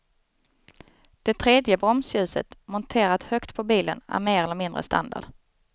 Det tredje bromsljuset, monterat högt på bilen är mer eller mindre standard.